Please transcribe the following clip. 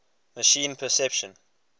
machine perception